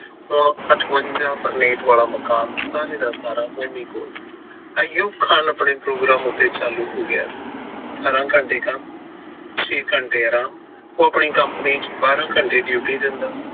ਆਯੂਬ ਖਾਨ ਆਪਣੇ ਪ੍ਰੋਗਰਾਮ ਉੱਤੇ ਚਾਲੂ ਹੋ ਗਿਆ ਸੀ ਅਠਾਰਾ ਘੰਟੇ ਕੰਮ ਛੇ ਘੰਟੇ ਆਰਾਮ ਉਹ ਆਪਣੀ company ਚ ਬਾਰਾ ਘੰਟੇ duty ਦਿੰਦਾ